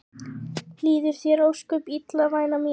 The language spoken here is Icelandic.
Líður þér ósköp illa væna mín?